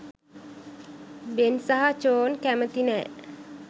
බෙන් සහ චෝන් කැමති නෑ.